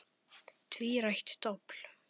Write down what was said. Tvírætt dobl.